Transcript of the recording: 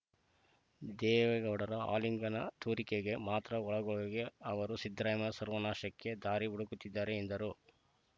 ದೇವೇಗೌಡರ ಆಲಿಂಗನ ತೋರಿಕೆಗೆ ಮಾತ್ರ ಒಳಗೊಳಗೆ ಅವರು ಸಿದ್ದರಾಮಯ್ಯ ಸರ್ವನಾಶಕ್ಕೆ ದಾರಿ ಹುಡುಕುತ್ತಿದ್ದಾರೆ ಎಂದರು